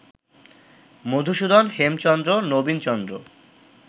Madhusudan, Hemchandra, Nabinchandra